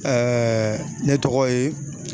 ne tɔgɔ ye